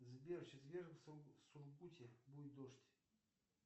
сбер в четверг в сургуте будет дождь